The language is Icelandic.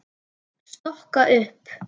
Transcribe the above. Stokka upp.